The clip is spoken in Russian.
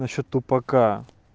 насчёт тупака